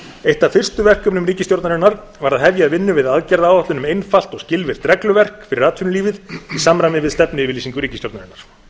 eitt af fyrstu verkum ríkisstjórnarinnar var að hefja vinnu við aðgerðaáætlun um einfalt og skilvirkt regluverk fyrir atvinnulífið í samræmi við stefnuyfirlýsingu ríkisstjórnarinnar